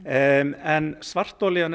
en svartolían er